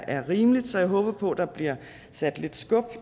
er rimeligt så jeg håber på at der bliver sat lidt skub